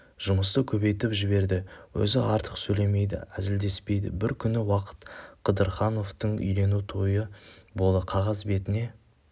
жұмысты көбейтіп жіберді өзі артық сөйлемейді әзілдеспейді бір күні уақап қыдырхановтың үйлену тойы болды қағаз бетіне